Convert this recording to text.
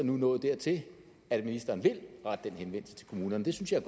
nu nået dertil at ministeren vil rette den henvendelse til kommunerne det synes jeg